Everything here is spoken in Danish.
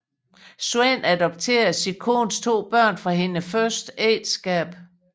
Svend adopterede sin kones to børn fra hendes første ægteskab